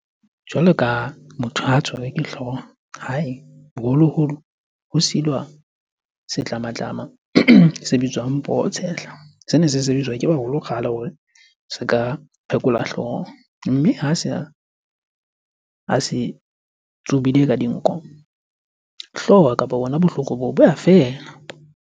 Jwalo ka motho ha tshwerwe ke hlooho. Hae, boholoholo ho silwa setlamatlama se bitswang poho tshehla. Sene se sebediswa ke baholo kgale hore se ka phekola hlooho. Mme ha se tsubile ka dinko, hlooho kapa bona bohloko boo bo a feela.